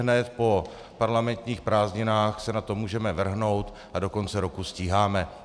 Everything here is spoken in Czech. Ihned po parlamentních prázdninách se na to můžeme vrhnout a do konce roku stíháme.